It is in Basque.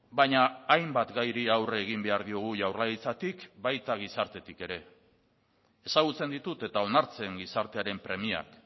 baina hainbat gairi aurre egin behar diogu jaurlaritzatik baita gizartetik ere ezagutzen ditut eta onartzen gizartearen premiak